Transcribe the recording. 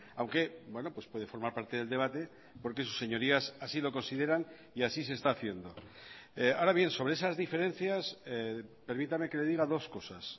aunque puede formar parte del debate porque sus señorías así lo consideran y así se está haciendo ahora bien sobre esas diferencias permítame que le diga dos cosas